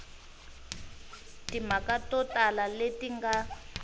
timhaka to tala leti nga